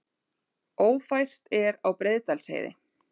Ófært er á Breiðdalsheiði